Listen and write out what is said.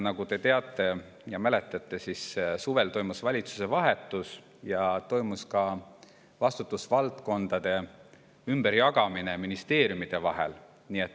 Nagu te teate ja mäletate, suvel toimus valitsuse vahetus ja toimus ka vastutusvaldkondade ümberjagamine ministeeriumide vahel.